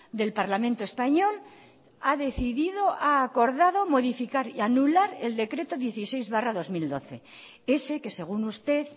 del parlamento español ha decidido ha acordado modificar y anular el decreto dieciséis barra dos mil doce ese que según usted